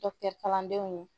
kalandenw